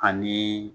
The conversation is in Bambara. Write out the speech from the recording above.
Ani